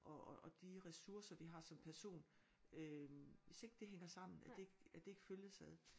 Og og og de ressourcer vi har som person øh hvis ikke det hænger sammen at det ikke at det ikke følges ad